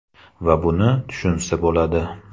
Va buni tushunsa bo‘ladi.